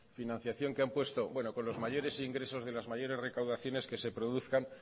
con los mayores ingresos de las mayores recaudaciones que se produzcan